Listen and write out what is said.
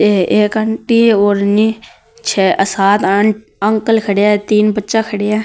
ये एक aunty only छ सात अंकल खड़ा है तीन बच्चा खड़ा है।